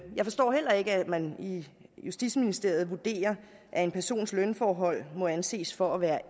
jeg forstår heller ikke at man i justitsministeriet vurderer at en persons lønforhold må anses for at være